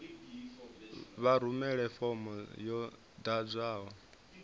vha rumele fomo yo ḓadzwaho